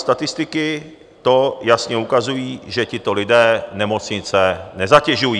Statistiky to jasně ukazují, že tito lidé nemocnice nezatěžují.